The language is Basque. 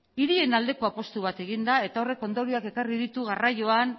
hirien aldeko apustu bat egin da eta horrek ondorioak ekarri ditu garraioan